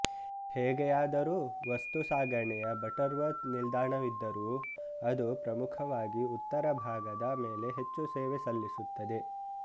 ಹೇಗೆಯಾದರೂ ವಸ್ತು ಸಾಗಣೆಯ Butterworth ನಿಲ್ದಾಣವಿದ್ದರೂ ಅದು ಪ್ರಮುಖವಾಗಿ ಉತ್ತರ ಭಾಗದ ಮೇಲೆ ಹೆಚ್ಚು ಸೇವೆ ಸಲ್ಲಿಸುತ್ತದೆ